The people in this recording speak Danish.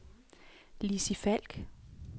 Lizzie Falk